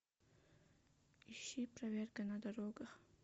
ищи проверка на дорогах